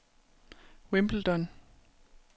Wimbledon